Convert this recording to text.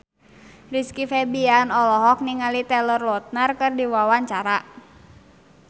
Rizky Febian olohok ningali Taylor Lautner keur diwawancara